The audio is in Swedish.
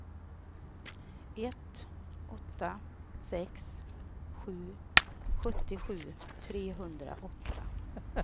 ett åtta sex sju sjuttiosju trehundraåtta